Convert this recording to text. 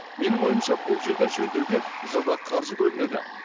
менің ойымша бұл жерді жөндеуге жылда қаржы бөлінеді